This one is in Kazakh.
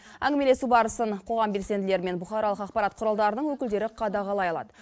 әңгімелесу барысын қоғам белсенділері мен бұқаралық ақпарат құралдарының өкілдері қадағалай алады